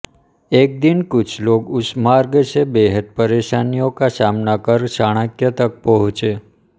एक दिन कुछ लोग उस मार्ग से बेहद परेशानियों का सामना कर चाणक्य तक पहुंचे